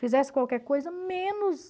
Fizesse qualquer coisa, menos...